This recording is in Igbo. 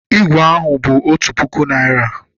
Ígwè ahụ bụ otu puku Naịra